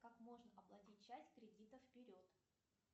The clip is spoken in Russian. как можно оплатить часть кредита вперед